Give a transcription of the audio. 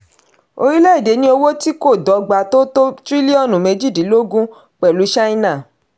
orílẹ̀ èdè ní owó tí kò dọ̀gba tó tó tírílíọ̀nù méjìdínlógún pẹ̀lú china.